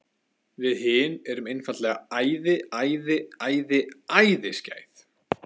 Við hin erum einfaldlega æði, æði, æði, æði skæð.